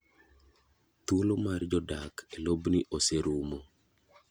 Thuolo mar jodak e lobni oserumo.